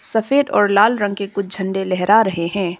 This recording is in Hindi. सफेद और लाल रंग के कुछ झंडा लहरा रहे हैं।